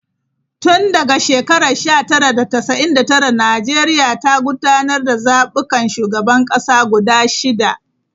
Tun daga shekarar 1999, Najeriya ta gudanar da zabukan shugaban kasa guda shida.